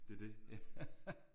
Det er det